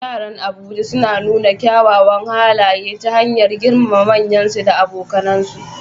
Yaran Abuja sun nuna kyawawan halaye ta hanyar girmama manyansu da abokansu.